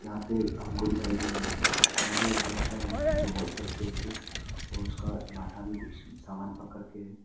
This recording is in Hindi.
यहां पे हमको दिखाई दे रहा है यहां में एक लड़का है जो व्हाइट शर्ट पहन के और उसका माथा में कुछ सामान पकड़ के है।